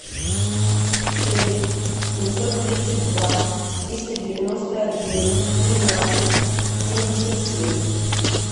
шесть семьсот тридцать два триста девяносто один тринадцать семьдесят семь